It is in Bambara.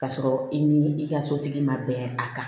K'a sɔrɔ i ni i ka sotigi ma bɛn a kan